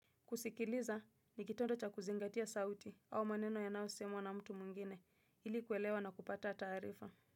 Kusikiliza ni kitonda cha kuzingatia sauti au maneno yanao semwa na mtu mwingine ilikuwelewa na kupata taarifa.